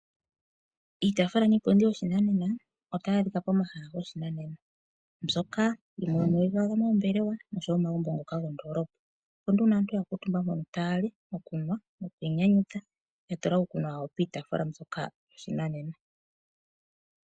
Iitaafula niipundi yoshinanena otayi adhika pomahala goshinanena mbyoka hayi adhika moombelewa noshowo momagumbo gomoondolopa opo nduno aantu yakuutumba tayali, tayanu nokwiinyanyudha ya tula iikunwa yayo piitaafula ndyoka yoshinanena.